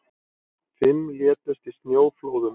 Fimm létust í snjóflóðum